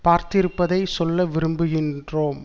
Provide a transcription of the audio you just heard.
பார்த்திருப்பதை சொல்ல விரும்புகின்றோம்